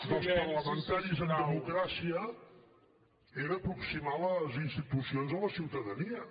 dels parlamentaris en democràcia era aproximar les institucions a la ciutadania